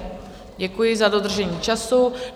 Děkuji za dodržení času.